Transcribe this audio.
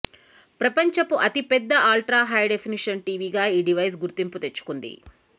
ప్రపంచపు అతిపెద్ద ultra high definition టీవీగా ఈ డివైస్ గుర్తింపు తెచ్చుకుంది